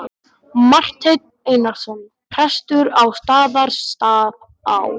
Marteinn Einarsson prestur á Staðarstað á.